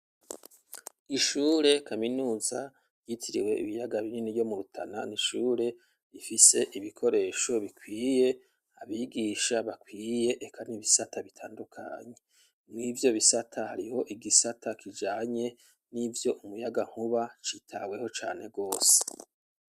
Ishure kaminuza yitiriwe ibiyaga binini yo mu Rutana n'ishure ifise ibikoresho bikwiye abigisha bakwiye eka n'ibisata bitandukanye ,mw'ivyo bisata hariho igisata kijanye n'ivyo umuyagankuba citaweho cane gose.